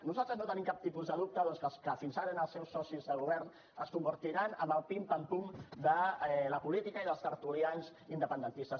nosaltres no tenim cap tipus de dubte doncs que fins ara els seus socis de govern es convertiran en el pim pam pum de la política i dels tertulians independentistes